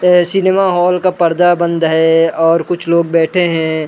प cinema hall का पर्दा बंद है और कुछ लोग बैठे है।